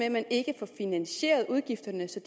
at man ikke får finansieret udgifterne så